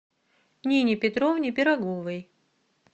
нине петровне пироговой